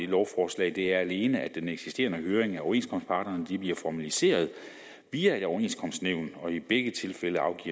lovforslag er alene at den eksisterende høring af overenskomstparterne nu bliver formaliseret via et overenskomstnævn i begge tilfælde afgives